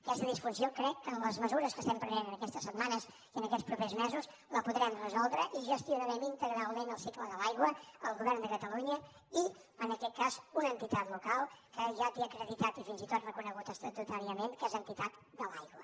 aquesta disfunció crec que amb les mesures que estem prenent aquestes setmanes i aquests propers mesos la podrem resoldre i gestionarem integralment el cicle de l’aigua el govern de catalunya i en aquest cas una entitat local que ja té acreditat i fins i tot reconegut estatutàriament que és entitat de l’aigua